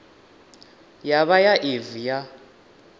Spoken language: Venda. ya vha ya evee ya